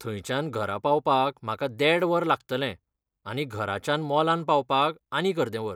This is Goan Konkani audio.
थंयच्यान घरा पावपाक म्हाका देड वर लागतलें आनी घराच्यान मॉलांत पावपाक आनीक अर्दे वर.